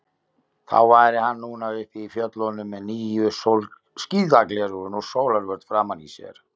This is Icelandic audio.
Þá væri hann núna uppi í fjöllunum með nýju skíðagleraugun og sólarvörn framan í sér.